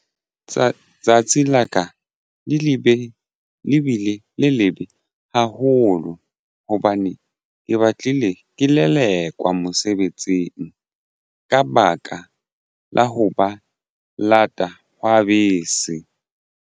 Tsatsi la ka le lebe le bile le lebe haholo hobane ke batlile ke lelekwa mosebetsing ka baka la ho ba lata hwa bese.